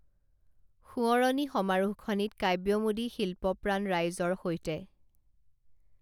সোঁৱৰণি সমাৰোহখনিত কাব্যমোদী শিল্পপ্ৰাণ ৰাইজৰ সৈতে